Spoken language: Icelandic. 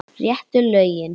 Réttu lögin.